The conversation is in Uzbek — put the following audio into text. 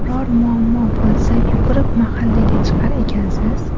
Biror muammo bo‘lsa, yugurib mahallaga chiqar ekansiz.